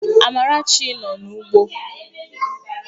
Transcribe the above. Amarachi nọ n'ugbo